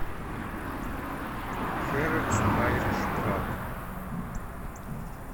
хэрэтс айриш паб